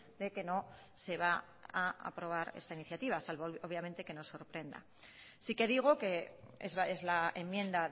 de que no se va a aprobar esta iniciativa salvo obviamente que nos sorprenda sí que digo que es la enmienda